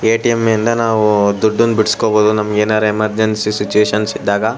ATM ನಿಂದ ನಾವು ದುಡ್ಡನ್ನ ಬಿಡಿಸಿ ಕೊಳ್ಳಬಹುದು ನಮಗೇನಾದ್ರು ಎಮರ್ಜೆನ್ಸಿ ಸಿಚುಯೇಶನ್ ಇದ್ದಾಗ.